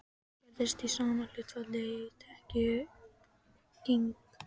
Hún skerðist í sama hlutfalli og tekjutrygging.